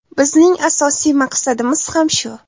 Bizning asosiy maqsadimiz ham shu.